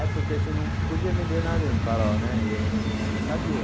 É porque assim não podia vender nada em Farol né, e eu não sabia.